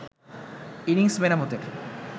innings মেরামতের